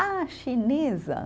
Ah, chinesa.